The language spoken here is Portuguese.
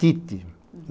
Tite.